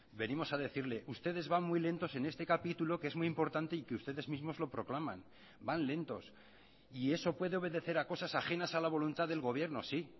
venimos a decirle ustedes van muy lentos en este capítulo que es muy importante y que ustedes mismos lo proclaman van lentos y eso puede obedecer a cosas ajenas a la voluntad del gobierno sí